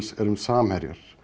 erum samherjar